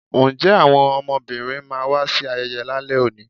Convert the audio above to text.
nje awọn ọmọbínrín ma wa sí ayeye lale òní?